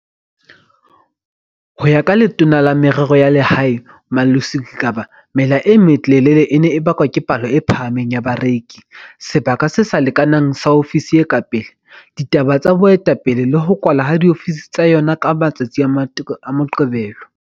Ho ya ka Letona la Merero ya Lehae, Malusi Gigaba mela e melelele e ne e bakwa ke palo e phahameng ya bareki, sebaka se sa lekanang sa ofisi e ka pele, ditaba tsa boetapele le ho kwalwa ha diofisi tsa yona ka matsatsi a Moqebelo.